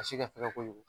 A si ka fɛgɛn kojugu